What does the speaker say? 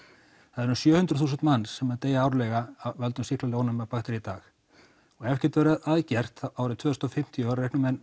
það eru umm sjö hundruð þúsund manns sem deyja árlega af völdu sýklalyfjaónæmra baktería í dag og ef ekkert verður að gert þá árið tvö þúsund og fimmtíu reikna menn